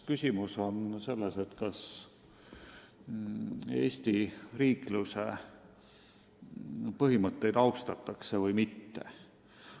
Küsimus on ikkagi selles, kas Eesti riikluse põhimõtteid austatakse või mitte.